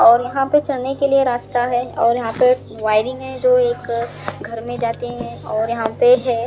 और यहाँ पे चलने के लिए रास्ता है और यहाँ पे वायरिंग है जो एक घर में जाते है और यहाँ पे है।